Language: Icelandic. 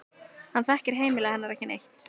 Hann þekkir heimili hennar ekki neitt.